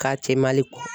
K'a kɛ mali